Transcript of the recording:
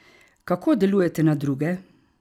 Kako delujete na druge?